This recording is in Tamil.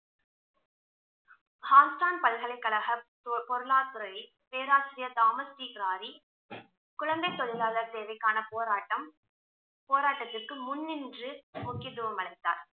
பல்கலைக்கழக பொ~ பொருளாதரத்துறையின் பேராசிரியர் தாமஸ் குழந்தை தொழிலாளருக்கான தேவைக்கான போராட்டம் போராட்டத்திற்கு முன் நின்று முக்கியத்துவம் அளித்தார்